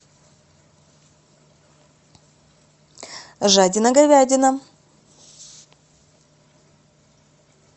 жадина говядина